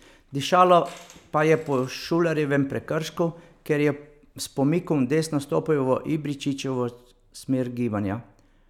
Dišalo pa je po Šulerjevem prekršku, ker je s pomikom v desno stopil v Ibričićevo smer gibanja.